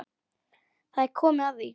Það er komið að því.